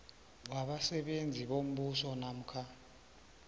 wabasebenzi bombuso namkha